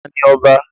Ta ni ọba?